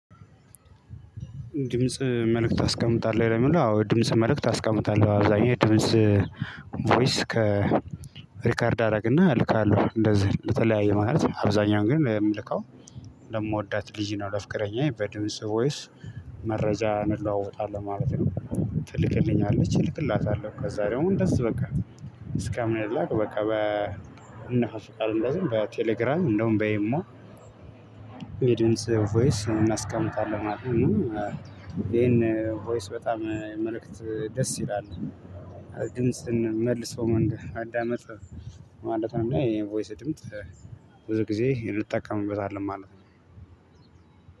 ድምጽ መልእክት ታስቀምጣለህ ለሚለው አዎ ድምጽ መልእክት አስቀምጣለሁ አብዛኛው ድምጽ ቮይስ ከ ሪከርድ አደረግና እልካለሁ እንደዚህ እንደተለያየ ማለት ነው። አብዛኛውን ግን የምልከው ለምወዳት ልጅ ነው ለፍቅረኛዬ በድምጽ ቮይስ መረጃ እንለዋወጣለን ማለት ነው። ትልክልኛለች እልክላታለሁ ከዛ ደሞ እንደዚህ በቃ እስከ ምንላላክ በቃ እንነፋፈቃለን። እንደዚህ በቴሌግራም እንደውም በኢሞ የድምጽ ቮይስ እናስቀምጣለን ማለት ነው። ይሄን ቮይስ በጣም መልእክት ደስ ይላል ድምጽን መልሶ ማዳመጥ ማለት ነው። ይሄን ቮይስ ድምጽ ብዙ ጊዜ እንጠቀምበታለን ማለት ነው።